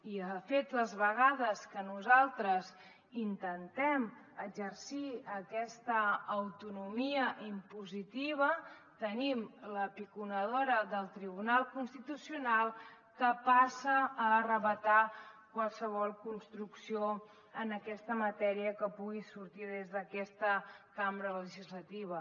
i de fet les vegades que nosaltres intentem exercir aquesta autonomia impositiva tenim la piconadora del tribunal constitucional que passa a arrabassar qualsevol construcció en aquesta matèria que pugui sortir des d’aquesta cambra legislativa